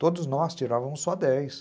Todos nós tirávamos só dez.